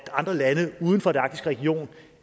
andre lande uden for den arktiske region